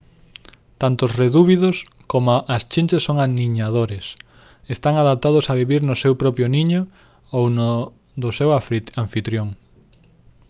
tanto os redúvidos coma as chinches son aniñadores están adaptados a vivir no seu propio niño ou no do seu anfitrión